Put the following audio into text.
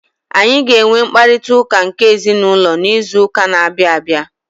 Anyị ga-enwe mkparịta ụka nke ezinụlọ n'izu ụka na-abịa abịa.